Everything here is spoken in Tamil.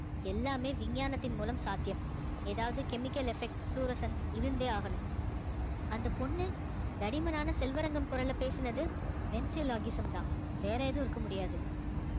எல்லாமே விஞ்ஞானத்தின் மூலம் சத்தியம் ஏதாவது chemical effect fluorescence இருந்தே ஆகணும் அந்த பொண்ணு தடிமனான செல்வரங்கம் குரல்ல பேசினது தான் வேற எதுவும் இருக்க முடியாது